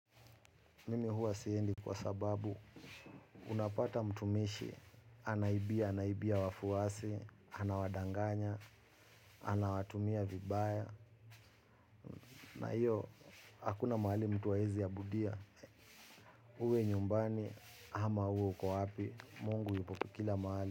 Mimi huwa siendi kwa sababu unapata mtumishi, anaibia, anaibia wafuasi, anawadanganya, anawatumia vibaya, na hiyo hakuna mahali mtu hawezi abudia. Uwe nyumbani ama uwe uko wapi, mungu yupo kila mahali.